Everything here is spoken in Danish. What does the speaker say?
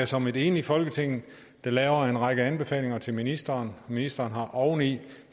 som et enigt folketing der laver en række anbefalinger til ministeren ministeren har oven i